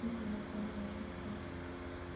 на хуй они нужны в принципе